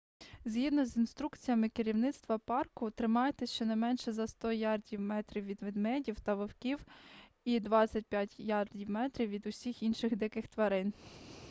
згідно з інструкціями керівництва парку тримайтесь щонайменше за 100 ярдів/метрів від ведмедів та вовків і 25 ярдів/метрів від усіх інших диких тварин!